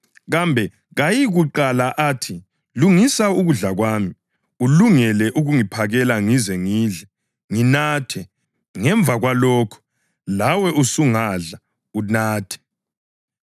Kambe kayikuqala athi, ‘Lungisa ukudla kwami, ulungele ukungiphakela ngize ngidle, nginathe; ngemva kwalokho lawe usungadla, unathe’?